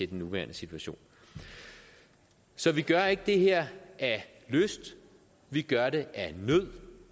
den nuværende situation så vi gør ikke det her af lyst vi gør det af nød